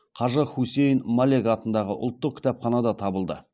қажы хусейн малек атындағы ұлттық кітапханадан табылды